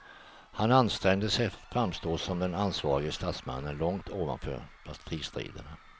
Han ansträngde sig att framstå som den ansvarige statsmannen, långt ovanför partistriderna.